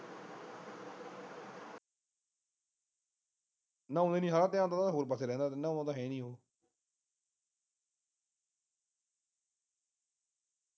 ਨਹਾਉਦੇ ਨਹੀ ਹਾਂ ਧਿਆਨ ਤਾਂ ਉਸਦਾ ਹੋਰ ਪਾਸੇ ਰਹਿੰਦਾ। ਨਹਾਉਦਾ ਤਾਂ ਹੈ ਨਹੀ ਉਹ।